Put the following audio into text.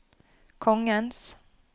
kongens